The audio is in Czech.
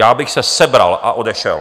Já bych se sebral a odešel.